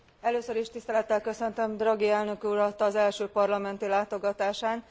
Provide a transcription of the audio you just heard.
Először is tisztelettel köszöntöm Draghi elnök urat az első parlamenti látogatásán.